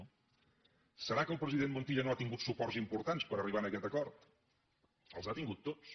deu ser que el president montilla no ha tingut suports importants per arribar a aquest acord els ha tingut tots